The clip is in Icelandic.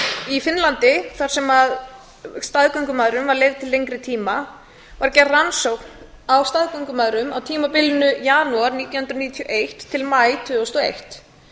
í finnlandi þar sem staðgöngumæðrun var leyfð til lengri tíma var gerð rannsókn á staðgöngumæðrum á tímabilinu janúar nítján hundruð níutíu og eitt til maí tvö þúsund og eitt